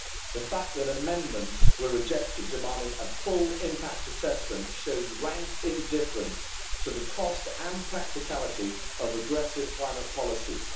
The fact that amendments were rejected demanding a full impact assessment shows rank indifference to the cost and practicality of aggressive climate policies.